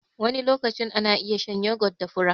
Wani lokacin ana iya shan yogot da fura.